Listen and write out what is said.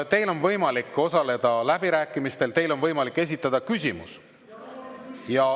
Teil on võimalik osaleda läbirääkimistel, teil on võimalik esitada küsimus.